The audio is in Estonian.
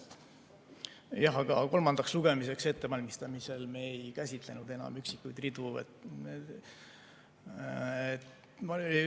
Jah, aga kolmandaks lugemiseks ettevalmistamisel me ei käsitlenud enam üksikuid ridu.